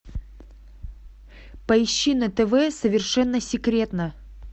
поищи на тв совершенно секретно